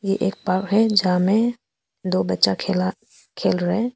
ये एक पार्क है जहां में दो बच्चा खेला खेल रहे हैं।